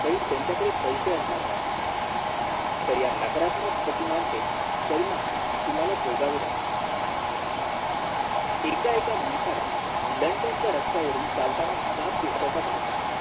काही त्यांच्याकडे पैसे असणार नाही तर या नकारत्मक प्रतिमांचे परिणाम तुम्हाला भोगावे लागतील एकदा एका माणसाला London च्या रस्त्यावरून चालताना साप दिसल्याचा भास झाला